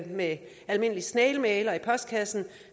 med almindelig snailmail og i postkassen